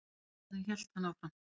Snillingarnir, hélt hann áfram.